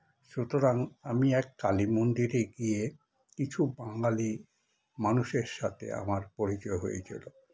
সুতরাং আমি এক কালি মন্দিরে গিয়ে কিছু বাঙালি মানুষের সাথে আমার পরিচয় হয়েছিল